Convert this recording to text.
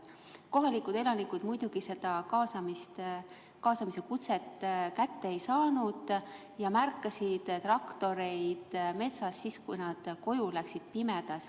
Kohalikud elanikud muidugi seda kaasamise kutset kätte ei saanud ja märkasid traktoreid metsas siis, kui nad pimedas koju läksid.